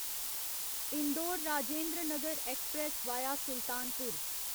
Indore Rajendranagar express via Sultanpur